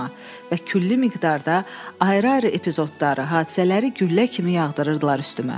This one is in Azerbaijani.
Və külli miqdarda ayrı-ayrı epizodları, hadisələri güllə kimi yağdırırdılar üstümə.